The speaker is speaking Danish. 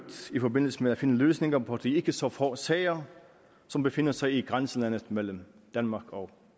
i forbindelse med at finde løsninger på de ikke så få sager som befinder sig i grænselandet mellem danmark og